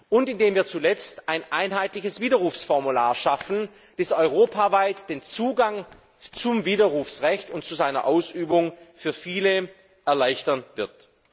und indem wir schließlich ein einheitliches Widerrufsformular schaffen, das europaweit den Zugang zum Widerrufsrecht und zu seiner Ausübung für viele erleichtern wird.